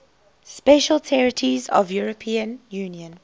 special territories of the european union